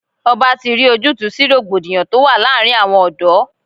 Ọba ti rí ojútùú sí rògbòdìyàn tó wà láàárín àwọn ọ̀dọ́.